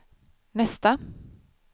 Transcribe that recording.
nästa